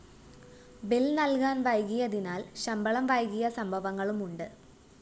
bill നല്‍കാന്‍ വൈകിയതിനാല്‍ ശമ്പളം വൈകിയ സംഭവങ്ങളുമുണ്ട്